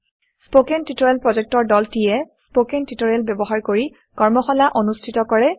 spoken tutorial প্ৰকল্পৰ দলটিয়ে spoken tutorial ব্যৱহাৰ কৰি কৰ্মশালা অনুষ্ঠিত কৰে